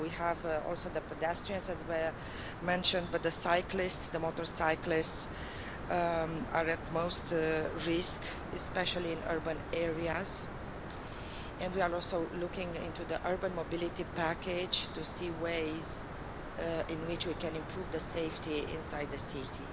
So we have also the pedestrians as were mentioned, but the cyclists, the motorcyclists are most at risk, especially in urban areas, and we are also looking into the urban mobility package to see ways in which we can improve the safety inside the city.